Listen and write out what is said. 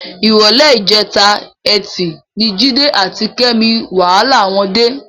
Ìrọ̀lẹ́ ìjẹta Ẹtì ni Jídé àti Kẹ́mi wàhálà wọn dé.